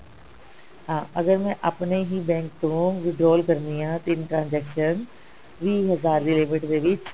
ਹਾਂ ਅਗਰ ਮੈਂ ਆਪਣੇ ਹੀ bank ਤੋਂ withdraw ਕਰਦੀ ਹਾਂ ਤਿੰਨ transaction ਵੀਹ ਹਜ਼ਾਰ ਦੀ limit ਦੇ ਵਿੱਚ